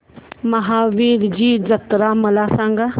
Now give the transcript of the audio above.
महावीरजी जत्रा मला सांग